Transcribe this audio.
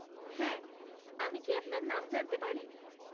হ্যাঁ, আমি কি আপনার নাম জানতে পারি?